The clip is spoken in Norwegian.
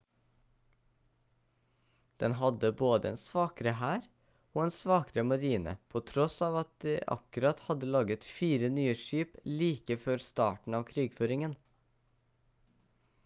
den hadde både en svakere hær og en svakere marine på tross av at de akkurat hadde laget 4 nye skip like før starten av krigføringen